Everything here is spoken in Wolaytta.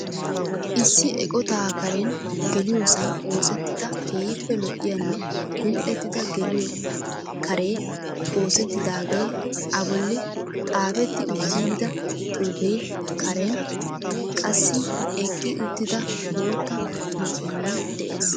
Issi eqotaa karen geliyosaan oosettida keehiippe lo'iyanne li'lettida geliyo karee oosettidaagee,a bolli xaafetti utyidida xuufee, kareen qassi eqqi uttida bootta makiinay de'"ees.